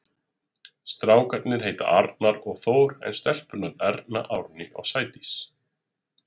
Strákarnir heita Arnar og Þór en stelpurnar Erna, Árný og Sædís.